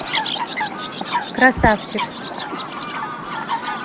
красавчик